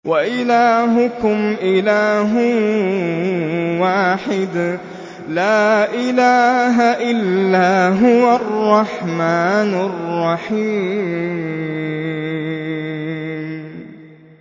وَإِلَٰهُكُمْ إِلَٰهٌ وَاحِدٌ ۖ لَّا إِلَٰهَ إِلَّا هُوَ الرَّحْمَٰنُ الرَّحِيمُ